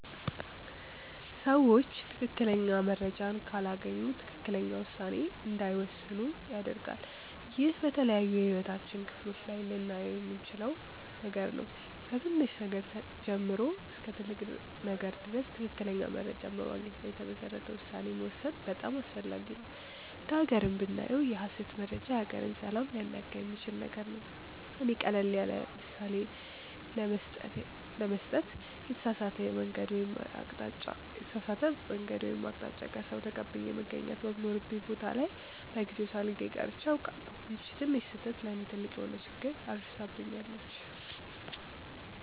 ሰዎች ትክክለኛ መረጃን ካላገኙ ትክክለኛ ውሳኔ እንዳይወስኑ ያደርጋል። ይህ በተለያዩ የህይወታችን ክፍሎች ላይ ልናየው የምንችል ነገር ነው። ከትንሽ ነገር ጀምሮ እስከ ትልቅ ነገር ድረስ ትክክለኛ መረጃን በማግኘት ላይ የተመሰረተ ውሳኔ መወሰን በጣም አስፈላጊ ነው። እንደ ሃገርም ብናየው የሐሰት መረጃ የሀገርን ሰላም ሊያናጋ የሚችል ነገር ነው። እኔ ቀለል ያለምሳሌ ለመስጠት የተሳሳተ የመንገድ ወይም አቅጣጫ ከሰዉ ተቀብዬ መገኘት በሚኖርብኝ ቦታ ላይ በጊዜው ሳልገኝ ቀርቼ አውቃለሁ። ይቺ ትንሽ ስህተት ለእኔ ትልቅ የሆነ ችግር አድርሳብኛለች።